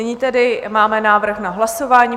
Nyní tedy máme návrh na hlasování.